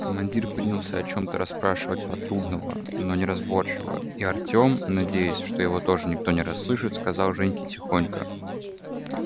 командир принялся о чем-то расспрашивать патрульного но неразборчиво и артем надеясь что его тоже никто не расслышит сказал женьке тихонько